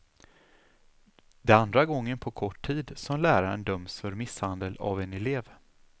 Det är andra gången på kort tid som läraren döms för misshandel av en elev.